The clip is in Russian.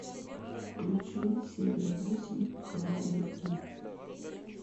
включи серия восемь хваюги